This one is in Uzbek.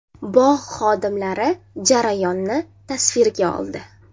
Bog‘ xodimlari jarayonni tasvirga oldi.